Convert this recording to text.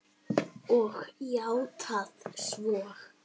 Og játað svo.